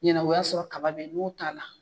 Ɲɛnɛbɔ o ya sɔrɔ kaba yen n k'o taa la.